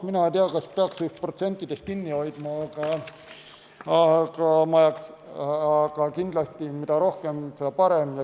Mina ei tea, kas peaks neist protsentidest kinni hoidma, aga kindlasti, mida rohkem, seda parem.